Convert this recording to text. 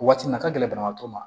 Waati min na ka gɛlɛn banabaatɔ ma